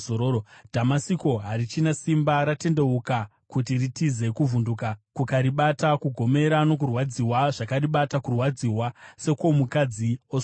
Dhamasiko harichina simba, rakatendeuka kuti ritize, kuvhunduka kukaribata; kugomera nokurwadziwa zvakaribata, kurwadziwa sekwomukadzi osununguka.